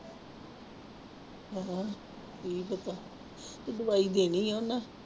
ਹਾਂ ਕੀ ਪਤਾ ਦਵਾਈ ਦੇਣੀ ਆਂ ਉਹਨੇ।